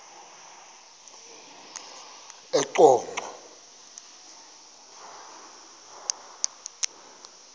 eqonco